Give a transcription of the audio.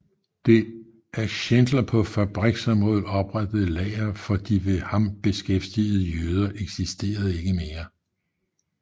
Det af Schindler på fabriksområdet oprettede lager for de ved ham beskæftigede jøder eksisterer ikke mere